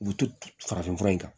U bɛ to farafin fura in kan